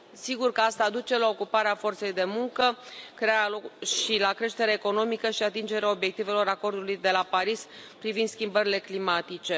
Sigur că asta duce la ocuparea forței de muncă și la creștere economică și atingerea obiectivelor Acordului de la Paris privind schimbările climatice.